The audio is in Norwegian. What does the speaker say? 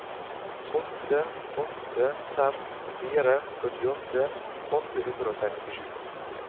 åtte åtte fem fire førtiåtte åtte hundre og sekstisju